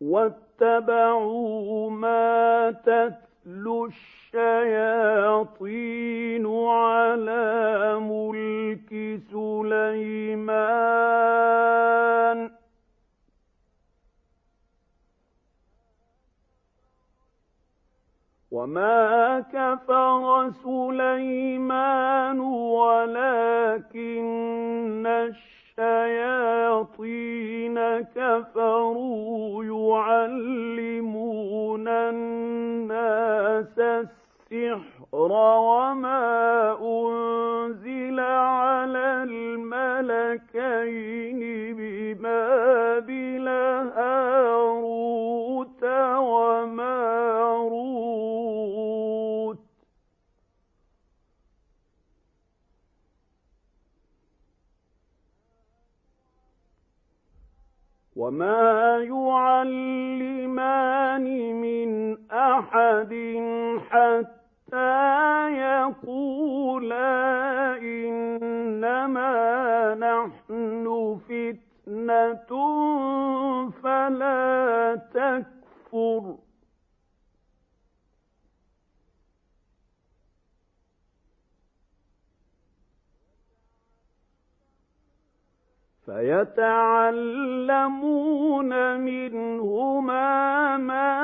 وَاتَّبَعُوا مَا تَتْلُو الشَّيَاطِينُ عَلَىٰ مُلْكِ سُلَيْمَانَ ۖ وَمَا كَفَرَ سُلَيْمَانُ وَلَٰكِنَّ الشَّيَاطِينَ كَفَرُوا يُعَلِّمُونَ النَّاسَ السِّحْرَ وَمَا أُنزِلَ عَلَى الْمَلَكَيْنِ بِبَابِلَ هَارُوتَ وَمَارُوتَ ۚ وَمَا يُعَلِّمَانِ مِنْ أَحَدٍ حَتَّىٰ يَقُولَا إِنَّمَا نَحْنُ فِتْنَةٌ فَلَا تَكْفُرْ ۖ فَيَتَعَلَّمُونَ مِنْهُمَا مَا